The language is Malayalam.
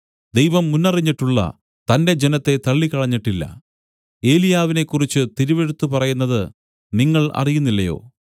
ദൈവം മുന്നറിഞ്ഞിട്ടുള്ള തന്റെ ജനത്തെ തള്ളിക്കളഞ്ഞിട്ടില്ല ഏലിയാവിനെ കുറിച്ച് തിരുവെഴുത്ത് പറയുന്നത് നിങ്ങൾ അറിയുന്നില്ലയോ